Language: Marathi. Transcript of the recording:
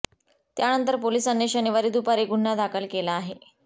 त्यानंतर पोलिसांनी शनिवारी दुपारी गुन्हा दाखल केला आहे